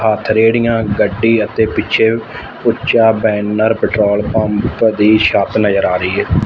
ਅੱਠ ਰੇੜੀਆਂ ਗੱਡੀ ਅਤੇ ਪਿੱਛੇ ਉੱਚਾ ਬੈਨਰ ਪੈਟਰੋਲ ਪੰਪ ਦੀ ਛੱਤ ਨਜ਼ਰ ਰਈ ਏ।